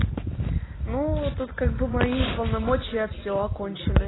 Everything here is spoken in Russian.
ну тут как бы мои полномочия всё окончены